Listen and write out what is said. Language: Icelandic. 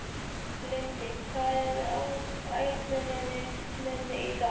Lindi, hvað er á áætluninni minni í dag?